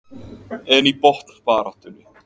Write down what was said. En í botnbaráttunni?